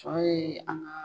Tɔ ye an ga